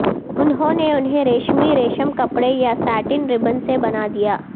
انہوں نے انہیں ریشمی ریشم کپڑے یا ساٹن ربن سے بنا دیا